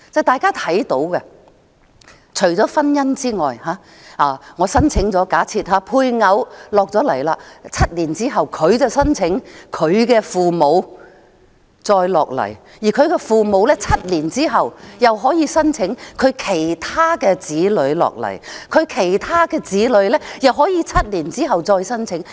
大家要明白，假設我申請了配偶來港 ，7 年之後他/她便申請其父母來港，而其父母在7年後又可以申請其他子女來港，其他子女又可以在7年之後再申請。